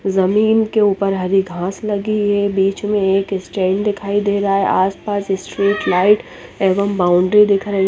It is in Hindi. ज़मीन के ऊपर हरी घास लगी है बिच में एक स्टैंड दिखाई दे रहा है आस पास स्ट्रीट लाइट एवं बाउनड्री दिखाई --